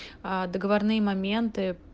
договорные моменты